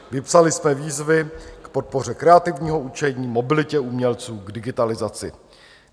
Vypsali jsme výzvy k podpoře kreativního učení, mobilitě umělců, k digitalizaci.